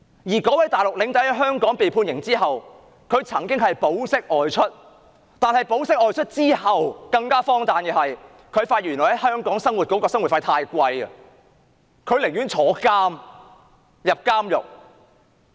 那名內地領隊在香港被判刑之後曾保釋外出，但更荒誕的是，他發現在香港生活的費用太貴，寧願坐牢。